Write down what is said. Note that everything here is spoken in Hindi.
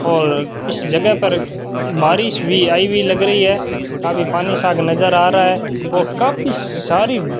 और इस जगह पर बारिश भी आई हुई लग रही है काफी पानी सा नजर आ रहा है और काफी सारी --